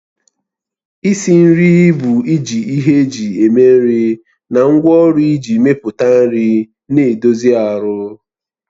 Isi nri bụ iji ihe eji eme nri na ngwaọrụ iji mepụta nri na-edozi ahụ